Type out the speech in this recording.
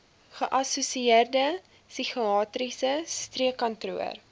geassosieerde psigiatriese streekkantoor